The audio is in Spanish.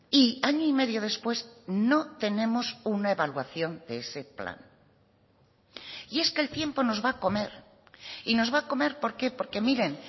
y año y medio después no tenemos una evaluación de ese plan y es que el tiempo nos va a comer y nos va a comer por qué porque miren